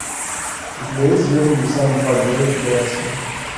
у тебя есть звездный десант два герои федерации